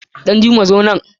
Danjuma zo nan!